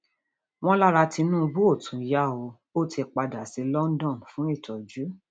wọn lára tinubu ò tún yá o ò ti padà sí london fún ìtọjú